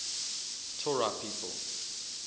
torah people